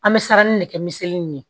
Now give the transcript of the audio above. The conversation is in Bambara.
An bɛ siran nin de kɛ misali in ye